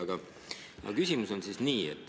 Aga küsimus on nii.